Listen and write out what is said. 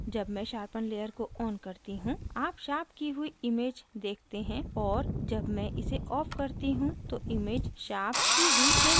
जब मैं sharpen layer को on करती हूँ आप sharpen की हुई image देखते हैं और जब मैं इसे off करती हूँ तो image sharpen की हुई नहीं होती है